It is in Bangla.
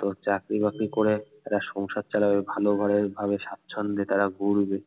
তো চাকরি বাকরি করে একটা সংসার চালাবে ভালো করে ভাবে স্বাচ্ছন্দ্যে তারা ঘুরবে